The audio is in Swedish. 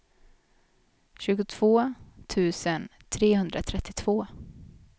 tjugotvå tusen trehundratrettiotvå